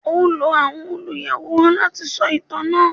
O lò àwọn oluyaworan lati sọ itan naa